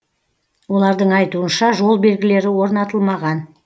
олардың айтуынша жол белгілері орнатылмаған